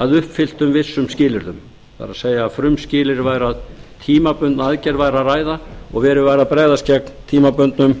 að uppfylltum vissum skilyrðum það er að frumskilyrðið væri að um tímabundna aðgerð væri að ræða og verið væri að bregðast gegn tímabundnum